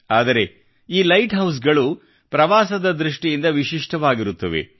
ಆದರೆ ಈ ಲೈಟ್ ಹೌಸ್ಗಳು ಪ್ರವಾಸದ ದೃಷ್ಟಿಯಿಂದ ವಿಶಿಷ್ಟವಾಗಿರುತ್ತವೆ